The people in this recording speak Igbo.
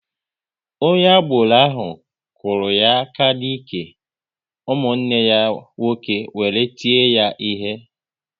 Onye agboro ahụ kụrụ ya aka n'ike, ụmụnne ya nwoke wéré tie ya ihe